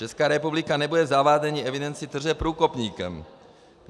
Česká republika nebude v zavádění evidence tržeb průkopníkem.